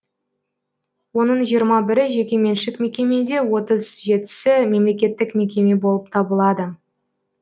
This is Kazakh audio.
оның жиырма бірі жекеменшік мекеме де отыз жетісі мемлекеттік мекеме болып табылады